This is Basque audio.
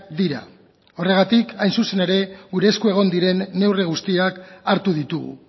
dira horregatik hain zuzen ere gure esku egon diren neurri guztiak hartu ditugu